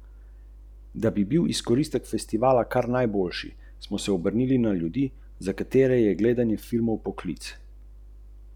Kdor je pripravljen plačati, doživi izjemno razpoloženje v množici, nekomu pa pač bolj ustreza tišina v gozdu.